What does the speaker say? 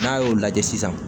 N'a y'o lajɛ sisan